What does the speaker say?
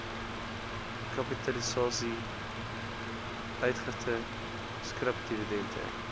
kapitalisasie uitgifte skripdividende